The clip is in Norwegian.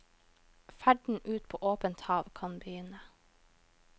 Ferden ut på åpent hav kan begynne.